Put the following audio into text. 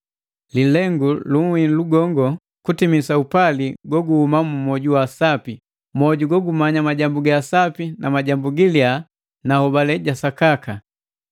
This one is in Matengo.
Lilengu uhilu gongo kutimisa mapali yagabokana mu mwoju wa sapi, mwoju gogumanya ga sapi ni giliya na hobale ja sakaka.